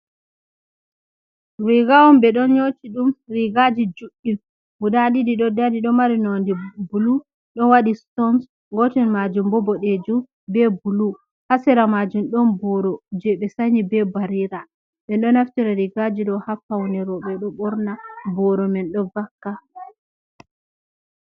Riga on ɓe ɗon nyoti ɗum rigaji juɗɗi on guda ɗiɗi ɗo dari do mari nonde bulu ɗon waɗi stones, gotel majum bobodejum be bulu, hasira majum ɗon boro je ɓe sanyi be barira, ɓe ɗo naftira rigaji dow hafaune robe ɗo borna boro man ɗo vakka.